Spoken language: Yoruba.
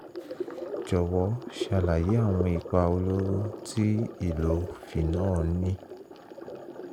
jọ̀wọ́ ṣàlàyé àwọn ipa olóró tí ìlò phenol ń ní